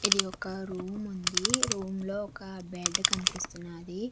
ఇది ఒక రూమ్ ఉంది రూమ్ లో ఒక బెడ్ కనిపిస్తున్నది.